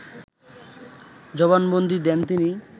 জবানবন্দি দেন তিনি